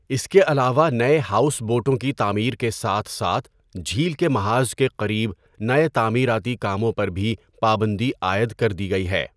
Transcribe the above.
اس کے علاوہ نئے ہاؤس بوٹوں کی تعمیر کے ساتھ ساتھ جھیل کے محاذ کے قریب نئے تعمیراتی کاموں پر بھی پابندی عائد کر دی گئی ہے۔